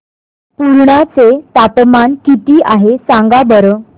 पुर्णा चे तापमान किती आहे सांगा बरं